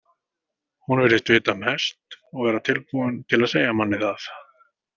Hún virðist vita mest og vera tilbúin til að segja manni það.